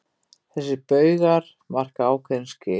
Þessir baugar marka ákveðin skil.